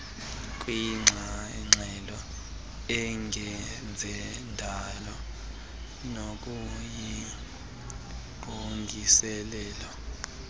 kwingxelo engezendalo nokuyingqongileyo